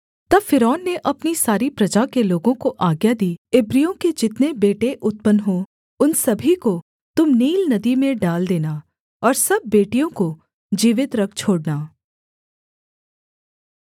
तब फ़िरौन ने अपनी सारी प्रजा के लोगों को आज्ञा दी इब्रियों के जितने बेटे उत्पन्न हों उन सभी को तुम नील नदी में डाल देना और सब बेटियों को जीवित रख छोड़ना